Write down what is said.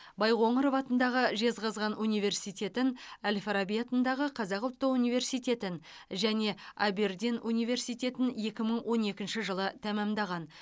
байқоңыров атындағы жезқазған университетін әл фараби атындағы қазақ ұлттық университетін және абердин университетін екі мың он екінші жылы тәмамдаған